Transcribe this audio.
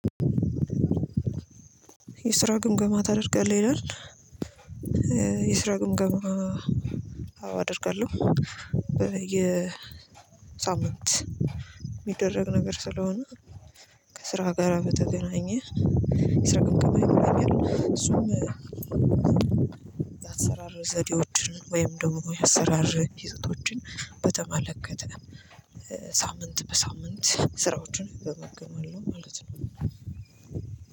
የስራ ግምገማ ታደርጋለህ ይላል የስራ ግምገማ አደርጋለሁ የሳምንት የሚደረግ ነገር ስለሆነ የስራ ግምገማ ታደርጋለህ ይላል የስራ ግምገማ አደርጋለሁ የሳምንት የሚደረግ ነገር ስለሆነ የአሰራር ዘዴዎችን ወይም ደግሞ የአሰራር ህዝቶችን በተመለከተ ሳምንት በሳምንት ስራዎችን እገመግማለው ማለት ነው።